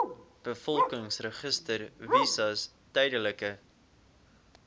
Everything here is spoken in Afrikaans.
bevolkingsregister visas tydelike